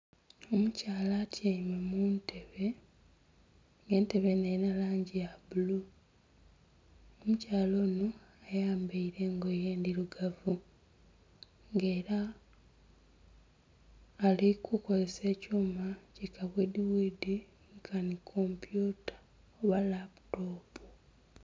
Omukyala atyaime mu ntebe nga entebe enho erina langi ya bbulu, omukyala onho ayambaire engoye ndhirugavu nga era ali ku kozesa ekyuma ki ka bwidhi bwidhi nkanhi kompyuta oba laputopu.